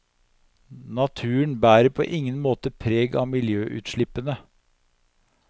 Naturen bærer på ingen måte preg av miljøutslippene.